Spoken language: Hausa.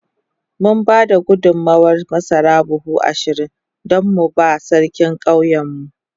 Mun ba da gudummawar masara buhu ashirin don mu ba Sarkin ƙauyenmu.